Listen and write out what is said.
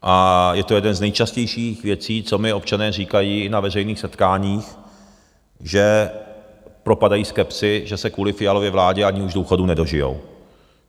A je to jedna z nejčastějších věcí, co mi občané říkají i na veřejných setkáních, že propadají skepsi, že se kvůli Fialově vládě ani už důchodu nedožijí.